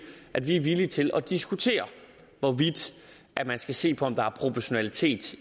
at vi er villige til at diskutere hvorvidt man skal se på om der er proportionalitet